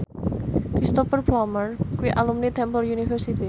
Cristhoper Plumer kuwi alumni Temple University